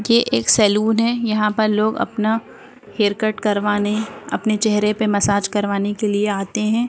ये एक सैलून है| यहाॅं पर लोग अपना हेयर कट करवाने अपने चेहरे पर मसाज करवाने के लिए आते हैं।